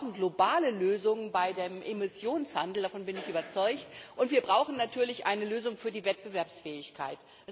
Wir brauchen globale Lösungen bei dem Emissionshandel davon bin ich überzeugt und wir brauchen natürlich eine Lösung für die Wettbewerbsfähigkeit.